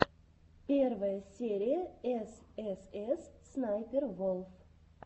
первая серия эс эс эс снайпер волф